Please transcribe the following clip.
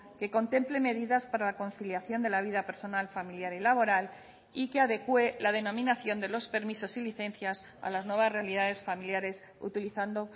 que contemple medidas para la conciliación de la vida personal familiar y laboral y que adecue la denominación de los permisos y licencias a las nuevas realidades familiares utilizando